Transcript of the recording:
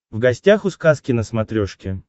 в гостях у сказки на смотрешке